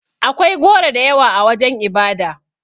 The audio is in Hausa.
Akwai goro da yawa a wajen ibada.